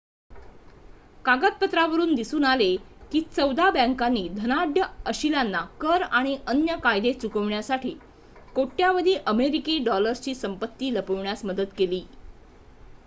कागदपत्रांवरुन दिसून आले की चौदा बँकांनी धनाढ्य अशिलांना कर आणि अन्य कायदे चुकविण्यासाठी कोट्यावधी अमेरिकी डॉलर्सची संपत्ती लपविण्यात मदत केली